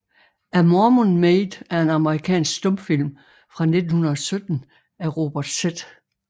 A Mormon Maid er en amerikansk stumfilm fra 1917 af Robert Z